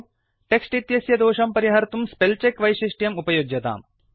text इत्यस्य दोषं परिहर्तुं स्पेलचेक वैशिष्ट्यम् उपयुज्यताम्